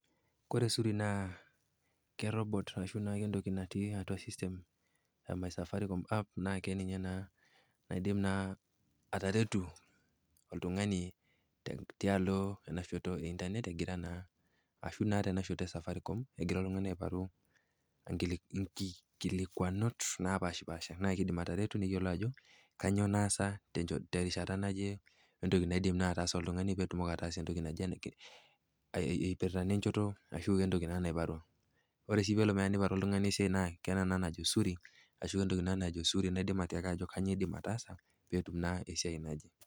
Koore zuri naa keirobot arashu naake entoki natii atua system ee My safaricom app naa keninye naa naidim naa ataretu oltung'ani tialo eena shoto ee internrt egira naa arashu naa teena shoto ee safaricom egira oltung'ani aiparu inkikilikuanot napaashipaasha naa keidim ataretu neyiolou aajo kanyoo naasa terishata naaje, wentoki naa naidim ataasa oltung'ani peyie itumoki ataasa etoki naiparwa. Oore sii teneiparu oltung'ani esiai tiatua eena naajo Zuri naa ninye nekiliki aajo kanyoo iidim ataasa.